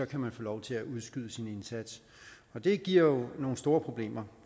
kan man få lov til at udskyde sin indsats det giver jo nogle store problemer